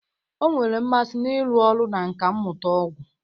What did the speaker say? Ọ nwere mmasị n'ịrụ ọrụ na nkà mmụta ọgwụ